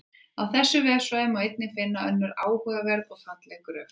Á þessum vefsvæðum má einnig finna önnur áhugaverð og falleg gröf.